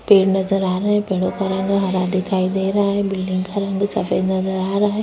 पेड़ नजर आ रहा है। पेड़ो का रंग हरा दिखाई दे रहा है। बिल्डिंग का रंग भी सफ़ेद दिखाई दे रहा है।